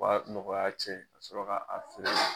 U y'a nɔgɔya cɛn ka sɔrɔ k'a a feere.